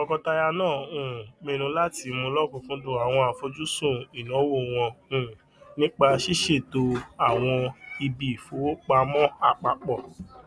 tọkọtaya náà um pinnu láti mú lọkùnkúndùn àwọn àfojúsùn ìnáwó wọn um nípa ṣísètò àwọn ibiìfowopamọ apapọ